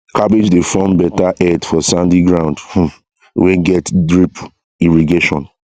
cabbage dey form better head for sandy ground um wey get drip irrigation